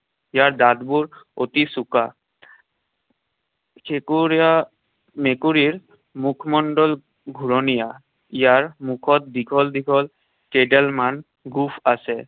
ইয়াৰ দাঁতবোৰ অতি চোকা। মেকুৰীৰ মুখমণ্ডল ঘুৰণীয়া। ইয়াৰ মুখত দীঘল দীঘল কেইডালমান গোফ আছে।